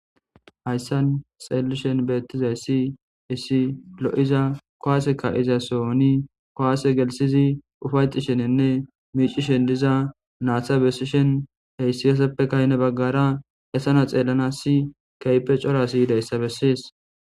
hayssan xeellishen beettizay ssi issi lo7iza kowaaseka iza sooni kowaase gelsizi ufayxi sheninne miicishen diza naaththa bessishen heyssi yoseppe kayne baggara esana xeellana si keype cora siyidayssa bessies